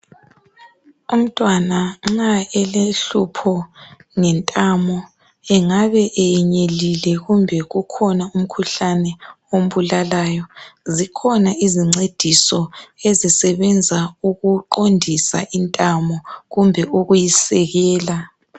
Umntwana nxa elohluphe ngentamo engabe enyelile kumbe kukhona okumbulalayo kukhona izingcediso ezisebenza ukungcedisa intamo kumbe ukuyisekela